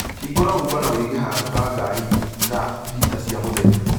Hingũra Uber na ũige handũ ha ngari thaa thita cia mũthenya